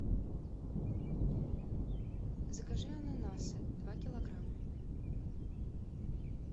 закажи ананасы два килограмма